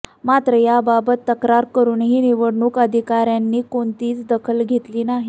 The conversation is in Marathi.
मात्र त्याबाबत तक्रार करुनही निवडणूक अधिकाऱयांनी कोणतीच दखल घेतली नाही